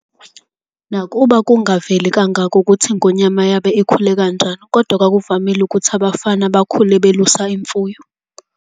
Nakuba kungaveli kangakho ukuthi iNgonyama yabe ikhule kanjani kodwa kwakuvamile ukuthi abafana bakhule belusa imfuyo.